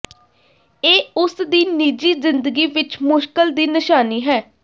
ਇਹ ਉਸ ਦੀ ਨਿੱਜੀ ਜ਼ਿੰਦਗੀ ਵਿਚ ਮੁਸ਼ਕਲ ਦੀ ਨਿਸ਼ਾਨੀ ਹੈ